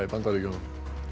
í Bandaríkjunum